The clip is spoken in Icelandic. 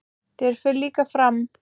Þér fer líka fram.